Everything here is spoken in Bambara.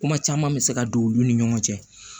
Kuma caman bɛ se ka don olu ni ɲɔgɔn cɛ